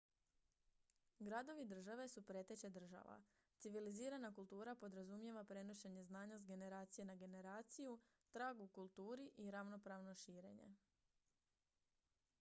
gradovi-države su preteče država civilizirana kultura podrazumijeva prenošenje znanja s generacije na generaciju trag u kulturi i ravnopravno širenje